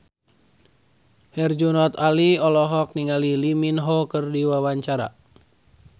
Herjunot Ali olohok ningali Lee Min Ho keur diwawancara